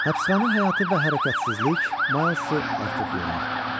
Həbsxana həyatı və hərəkətsizlik Milesi artıq yormuşdu.